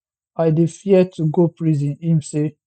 i dey fear to go prison im say